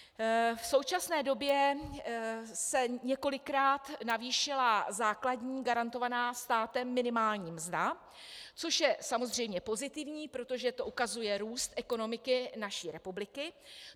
V současné době se několikrát navýšila základní garantovaná státem minimální mzda, což je samozřejmě pozitivní, protože to ukazuje růst ekonomiky naší republiky.